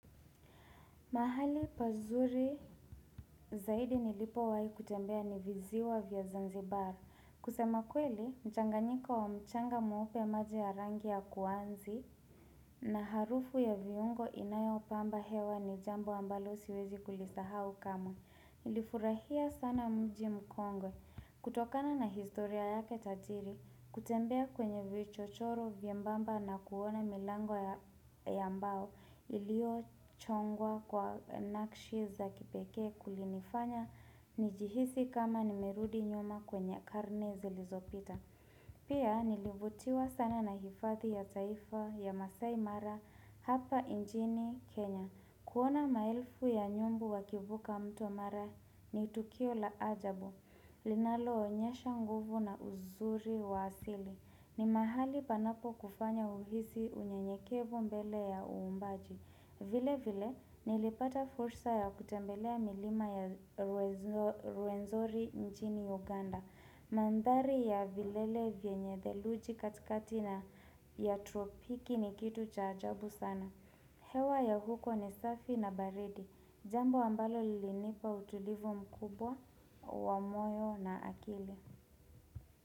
Mahali pazuri zaidi nilipo wahi kutembea ni viziwa vya zanzibar. Kusema kweli, mchanganyiko wa mchanga mweupe maji ya rangi ya kuanzi na harufu ya viungo inayo pamba hewa ni jambo ambalo siwezi kulisahau kama. Nilifurahia sana mji mkongo. Kutokana na historia yake tajiri, kutembea kwenye vichochoro vye mbamba na kuona milango ya mbao ilio chongwa kwa nakshi za kipekee kulinifanya nijihisi kama nimerudi nyuma kwenye karne zi lizopita Pia nilivutiwa sana na hifathi ya taifa ya masai mara Hapa injini Kenya kuona maelfu ya nyumbu wakivuka mtu mara ni tukio la ajabu linalo onyesha nguvu na uzuri wa asili ni mahali panapo kufanya uhisi unye nyekevo mbele ya uumbaji vile vile nilipata fursa ya kutembelea milima ya rwenzori njini Uganda Mandhari ya vilele vienye dheluji kati kati na ya tropiki ni kitu cha ajabu sana hewa ya huko ni safi na baridi Jambo ambalo lilinipa utulivu mkubwa, wamoyo na akili.